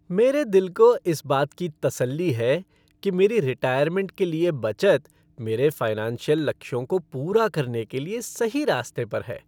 मेरे दिल को इस बात की तसल्ली है कि मेरी रिटायरमेंट के लिए बचत मेरे फ़िनांशियल लक्ष्यों को पूरा करने के लिए सही रास्ते पर है।